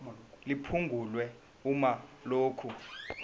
liphungulwe uma lokhu